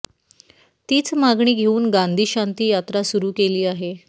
तीच मागणी घेऊन गांधी शांती यात्रा सुरू केली आहे